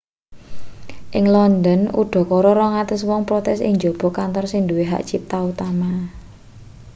ing london udakara 200 wong protes ing njaba kantor sing nduwe hak cipta utama